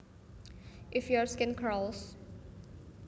If your skin crawls